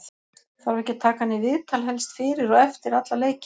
þarf ekki að taka hann í viðtal helst fyrir og eftir alla leiki?